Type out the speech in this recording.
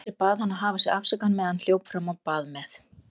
Andri bað hann að hafa sig afsakaðan meðan hann hljóp fram á bað með